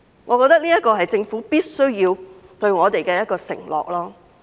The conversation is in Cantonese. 我認為這是政府必須對我們作出的承諾。